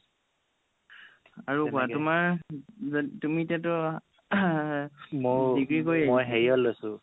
আৰু কোৱা তোমাৰ তুমি এতিয়াতো degree কৰি